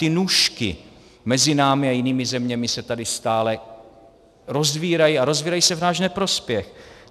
Ty nůžky mezi námi a jinými zeměmi se tady stále rozvírají, a rozvírají se v náš neprospěch.